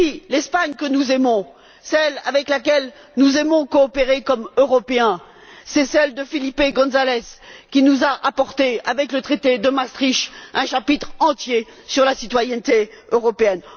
L'Espagne que nous aimons, celle avec laquelle nous aimons coopérer comme européens, c'est celle de Felipe González, qui nous a apporté, avec le traité de Maastricht, un chapitre entier sur la citoyenneté européenne.